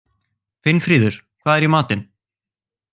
Finnfríður, hvað er í matinn?